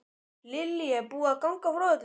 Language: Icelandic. Lillý, er búið að ganga frá öllu?